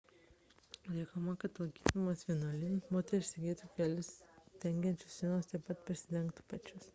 reikalaujama kad lankydamosios vienuolynuose moterys segėtų kelius dengiančius sijonus taip pat prisidengtų pečius